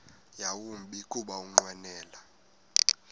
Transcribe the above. yawumbi kuba ukunqwenela